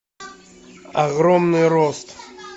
огромный рост